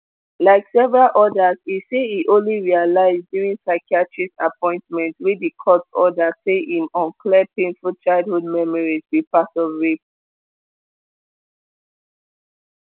like several odas e say e only realise during psychiatrist appointments wey di court order say im unclear painful childhood memories be part of rape